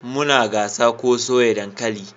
Muna gasa ko soya dankali